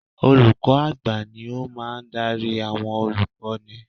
Olùkọ́ à̀gbà ni ó máa ń darí àwọn olùkọ́ni